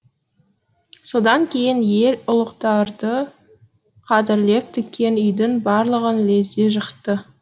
содан кейін ел ұлықтарды қадірлеп тіккен үйдің барлығын лезде жықты